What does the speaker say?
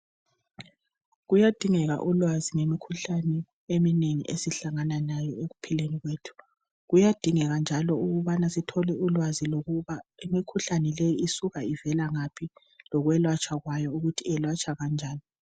kuyadingeka ulwazi ngemikhuhlane eminengi esihlangana layo ekuphileni kwethu ,kuyadingeka njalo ukubana sithole ulwazi lokuba imikhuhlane leyi isuka ivela ngaphi lokwelatshwa kwayo ukuthi iyelatshwa kanjani